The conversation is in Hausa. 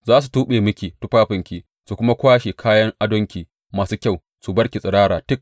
Za su tuɓe miki tufafinki su kuma kwashe kayan adonki masu kyau su bar ki tsirara tik.